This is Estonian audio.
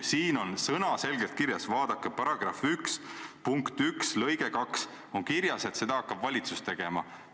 Siin on sõnaselgelt kirjas, vaadake, § 1 punkti 1 lõikes 2 on kirjas, et seda hakkab valitsus tegema.